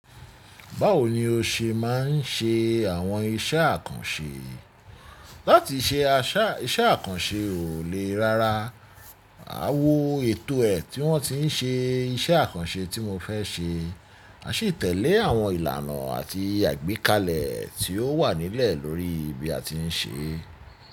Báwo ni o ṣe má ń ṣe àwọn iṣẹ́ àkànṣe? Láti ṣe iṣẹ́ àkànṣe ò lè rárá. A wo ètò ẹ̀ tí wọ́n ti ń ṣe iṣẹ́ àkànṣe tí mo fẹ́ ṣe. A sì tẹ̀lé àwọn ìlànà àti àgbékalẹ̀ tí o wà nílẹ̀ lórí ibi a ti ń ṣe.